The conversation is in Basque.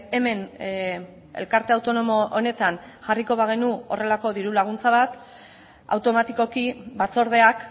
hemen elkarte autonomo honetan jarriko bagenu horrelako diru laguntza bat automatikoki batzordeak